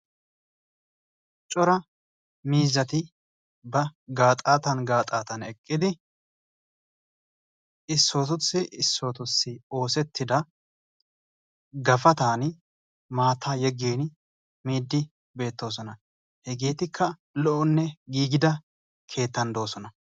coraa miizzati ba gaaxatan gaaxatan eqidi issotussi issotussi oosettida gapatan maata yeggiin miidi beettosona. hegeetikka lo''onne giigida keettan doosona.